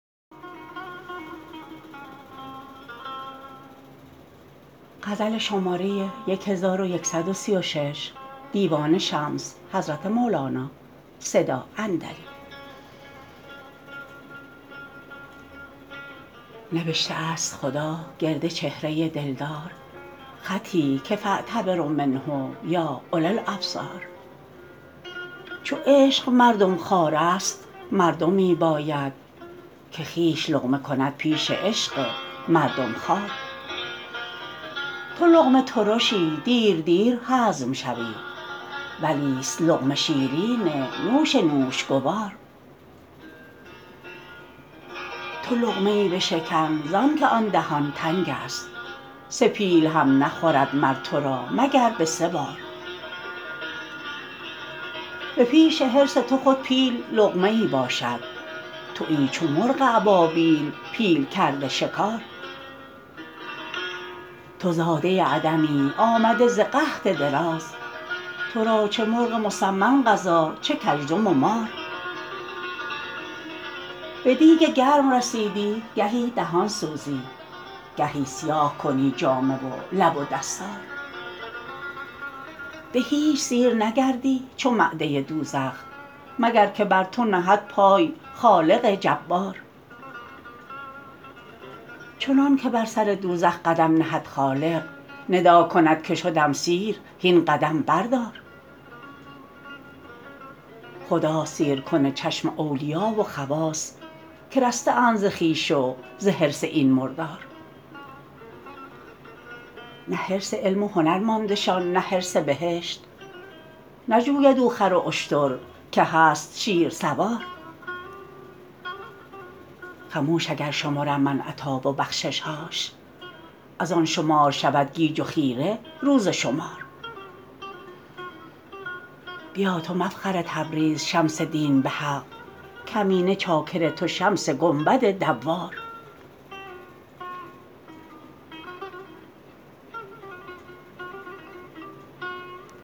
نبشته ست خدا گرد چهره دلدار خطی که فاعتبروا منه یا اولی الابصار چو عشق مردم خوارست مردمی باید که خویش لقمه کند پیش عشق مردم خوار تو لقمه ترشی دیر دیر هضم شوی ولیست لقمه شیرین نوش نوش گوار تو لقمه ای بشکن زانک آن دهان تنگست سه پیل هم نخورد مر تو را مگر به سه بار به پیش حرص تو خود پیل لقمه ای باشد توی چو مرغ ابابیل پیل کرده شکار تو زاده عدمی آمده ز قحط دراز تو را چه مرغ مسمن غذا چه کژدم و مار به دیگ گرم رسیدی گهی دهان سوزی گهی سیاه کنی جامه و لب و دستار به هیچ سیر نگردی چو معده دوزخ مگر که بر تو نهد پای خالق جبار چنانک بر سر دوزخ قدم نهد خالق ندا کند که شدم سیر هین قدم بردار خداست سیرکن چشم اولیا و خواص که رسته اند ز خویش و ز حرص این مردار نه حرص علم و هنر ماندشان نه حرص بهشت نجوید او خر و اشتر که هست شیرسوار خموش اگر شمرم من عطا و بخشش هاش از آن شمار شود گیج و خیره روز شمار بیا تو مفخر تبریز شمس دین به حق کمینه چاکر تو شمس گنبد دوار